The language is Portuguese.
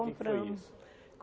Compramos O que foi isso?